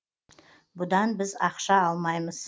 бұдан біз ақша алмаймыз